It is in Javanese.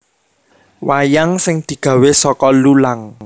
Wayang sing digawe saka lulang